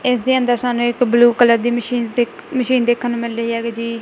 ਇਸਦੇ ਅੰਦਰ ਸਾਨੂੰ ਇੱਕ ਬਲੂ ਕਲਰ ਦੀ ਮਸ਼ੀਨਸ ਦੇਖ ਮਸ਼ੀਨ ਦੇਖਣ ਨੂੰ ਮਿਲ ਰਹੀ ਹੈਗੀ ਜੀ।